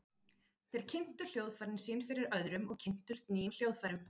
Þeir kynntu hljóðfærin sín fyrir öðrum og kynntust nýjum hljóðfærum.